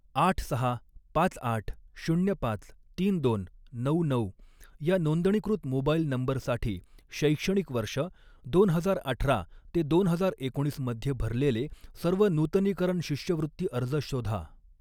आठ सहा पाच आठ शून्य पाच तीन दोन नऊ नऊ या नोंदणीकृत मोबाइल नंबरसाठी शैक्षणिक वर्ष दोन हजार अठरा ते दोन हजार एकोणीस मध्ये भरलेले सर्व नूतनीकरण शिष्यवृत्ती अर्ज शोधा